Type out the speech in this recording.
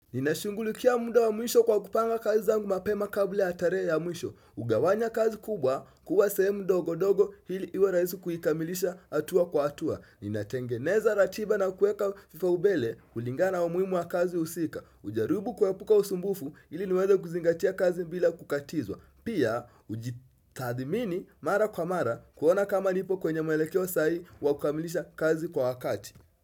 Ninashungulikia muda wa mwisho kwa kupanga kazi zangu mapema kabla ya tarehe ya mwisho kugawanya kazi kubwa kuwa sehemu ndogo ndogo ili iwe rahisi kuikamilisha hatua kwa hatua Ninatengeneza ratiba na kuweka vipaumbele kulingana wa umuhimu wa kazi husika kujarubu kwa kuepuka usumbufu ili niweza kuzingatia kazi bila kukatizwa Pia ujitathimini mara kwa mara kuona kama nipo kwenye mwelekeo sai wakukamilisha kazi kwa wakati.